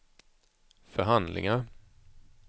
förhandlingar